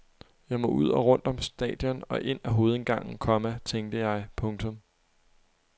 Jeg må ud og rundt om stadion og ind af hovedindgangen, komma tænkte jeg. punktum